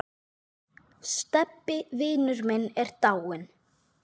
Stebbi vinur minn er dáinn.